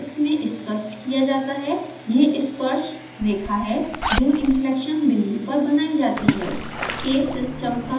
यह इस चित्र में स्पष्ट किया जाता है यह स्पर्श रेखा है जो inflection बिंदु पर बनाई जाती है